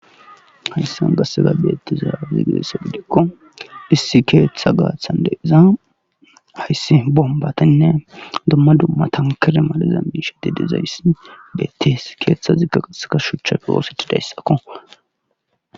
hayssan gasseza beetti zaabi gidesse gidekko issi keeththa gaaththan de iza hayssi bombatinne domma dumma tankire maliza miishe didizayssi beetti hissi keeththa zigga qaseka shuchcha piroositi dayssakko